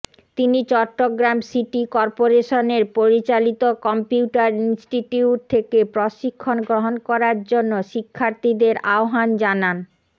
তিনি Chittagong city corporation পরিচালিত computer institute থেকে প্রশিক্ষন গ্রহণ করার জন্য শিক্ষার্থীদের আহবান জানান